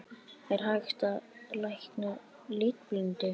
Er hægt að lækna litblindu?